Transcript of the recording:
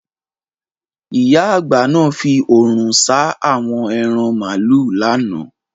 Ìyá àgbà náà fi òrùn ṣáá awo ẹran màlúù lánàá.